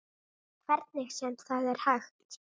Hvernig sem það er hægt.